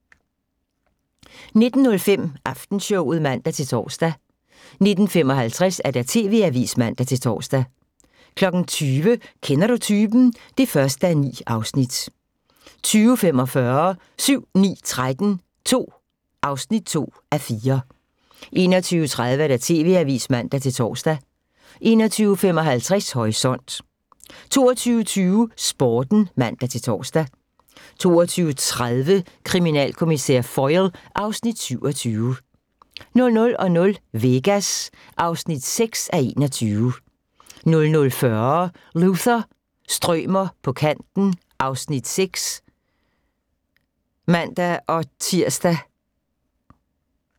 19:05: Aftenshowet (man-tor) 19:55: TV-avisen (man-tor) 20:00: Kender Du Typen? (1:9) 20:45: 7-9-13 II (2:4) 21:30: TV-avisen (man-tor) 21:55: Horisont 22:20: Sporten (man-tor) 22:30: Kriminalkommissær Foyle (Afs. 27) 00:00: Vegas (6:21) 00:40: Luther – strømer på kanten (Afs. 6)(man-tir)